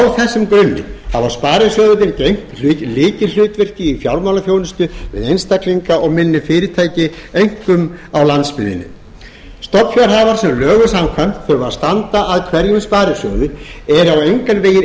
á þessum grunni hafa sparisjóðirnir gegnt lykilhlutverki í fjármálaþjónustu við einstaklinga og minni fyrirtæki einkum á landsbyggðinni stofnfjárhafar sem lögum samkvæmt þurfa að standa að hverjum sparisjóði eru engan veginn